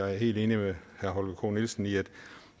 er helt enig med holger k nielsen i at